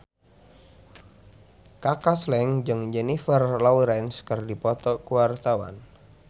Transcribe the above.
Kaka Slank jeung Jennifer Lawrence keur dipoto ku wartawan